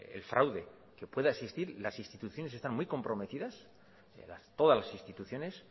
el fraude que pueda existir las instituciones están muy comprometidas todas las instituciones